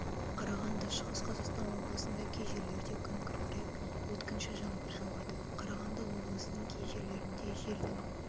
қарағанды шығыс қазақстан облысында кей жерлерде күн күркіреп өткінші жаңбыр жауады қарағанды облысының кей жерлерінде желдің